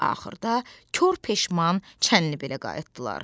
Axırda kor peşman Çənlibelə qayıtdılar.